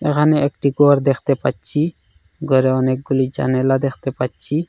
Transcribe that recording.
এহানে একটি গর দেখতে পাচ্ছি গরে অনেকগুলি জানেলা দেখতে পাচ্ছি।